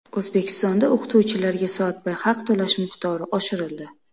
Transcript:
O‘zbekistonda o‘qituvchilarga soatbay haq to‘lash miqdori oshirildi.